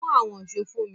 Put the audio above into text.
Mú àwọn ṣó fún mi!